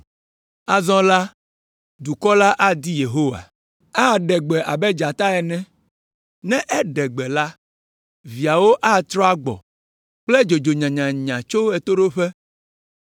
Azɔ la, dukɔ la adi Yehowa. Aɖe gbe abe dzata ene. Ne eɖe gbe la, viawo atrɔ agbɔ kple dzodzo nyanyanya tso ɣetoɖoƒe.